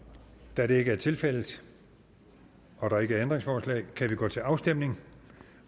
da det ikke er tilfældet og der ikke er ændringsforslag kan vi gå til afstemning